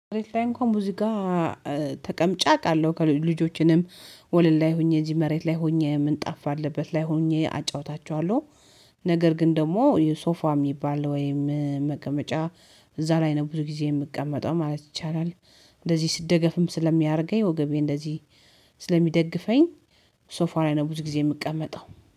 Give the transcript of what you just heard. መሬት ላይ እንኳን ብዙ ጋር ተቀምጫ አውቃለሁ ልጆችንም ወለል ላይ ሆኜ እዚህ መሬት ላይ ሆኜ ምን ጣፋ ባለበት ላይ ሆኜ አጫውታቸዋለሁ። ነገር ግን ደግሞ የሶፋም የሚባል ወይም መቀመጫ እዛ ላይ ነው ብዙ ጊዜ የምቀመጠው ማለት ይቻላል። እንደዚህ ስደገፍም ስለሚያደርገኝ ወገቤ እንደዚህ ስለሚደግፈኝ። ሶፋ ላይ ነው ብዙ ጊዜ የምቀመጠው